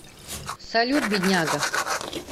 салют бедняга